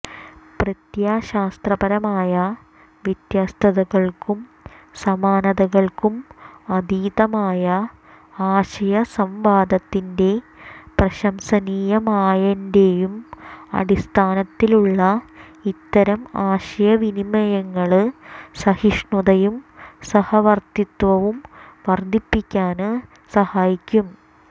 പ്രത്യയശാസ്ത്രപരമായ വ്യത്യസ്തതകള്ക്കും സമാനതകള്ക്കും അതീതമായ ആശയസംവാദത്തിന്റെ പ്രശംസനീയമായന്റെയും അടിസ്ഥാനത്തിലുള്ള ഇത്തരം ആശയവിനിമയങ്ങള് സഹിഷ്ണുതയും സഹവര്ത്തിത്വവും വര്ധിപ്പിക്കാന് സഹായിക്കും